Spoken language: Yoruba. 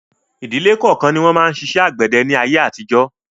Ìdíle kọ̀ọ̀kan ni wọn máa ń ṣiṣẹ́ àgbẹ̀dẹ ni ayé àtijọ́